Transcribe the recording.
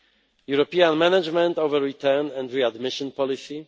European management over return and readmission policy